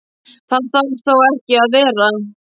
Það þarf þó ekki að vera.